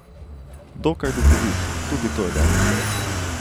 Dokaj duhovit, tudi to je dobro.